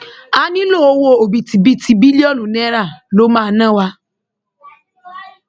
a nílò owó òbítíbitì bílíọnù náírà ló máa ná wa